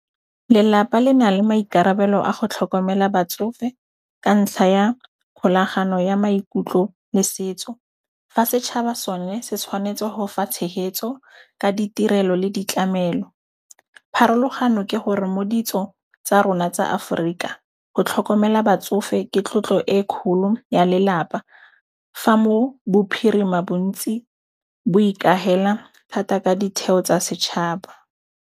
Lelapa le na le maikarabelo a go tlhokomela batsofe ka ntlha ya kgolagano ya maikutlo le setso. Fa setšhaba sone se tshwanetse ho fa tshehetso ka ditirelo le ditlamelo. Pharologano ke hore mo ditsong tsa rona tsa Aforika go tlhokomela batsofe ke tlotlo e kgolo ya lelapa, fa mo bophirima bontsi bo ikahela thata ka ditheo tsa setšhaba.